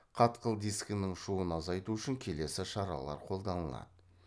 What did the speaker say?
қатқыл дискінің шуын азайту үшін келесі шаралар қолданылады